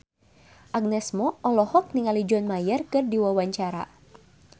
Agnes Mo olohok ningali John Mayer keur diwawancara